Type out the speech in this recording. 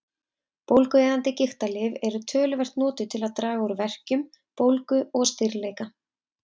Bólgueyðandi gigtarlyf eru töluvert notuð til að draga úr verkjum, bólgu og stirðleika.